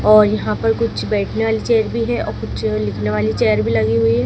और यहाँ पर कुछ बैठने वाली चेयर भी है और कुछ लिखने वाली चेयर भी लगी हुई है।